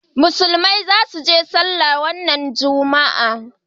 musulmai za su je sallah wannan juma'a